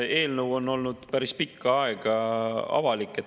Eelnõu on olnud päris pikka aega avalik.